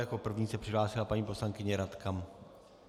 Jako první se přihlásila paní poslankyně Radka...